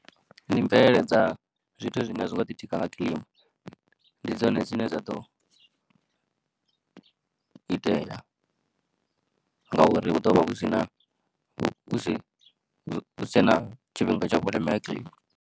Ndi mvelele dza zwithu zwine a zwi ngo ḓi tika nga kilima ndi dzone dzine dza ḓo itela ngauri hu ḓonvha hu si na, hu si tshe na tshifhinga tsha vhuleme ha kilima.